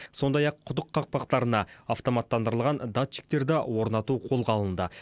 сондай ақ құдық қақпақтарына автоматтандырылған датчиктерді орнату қолға алынды